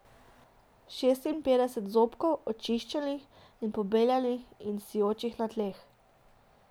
Šestinpetdeset zobkov, očiščenih in pobeljenih in sijočih na tleh.